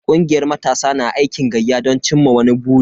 Kungiyar matasa na aikin gayya don cimma wani buri.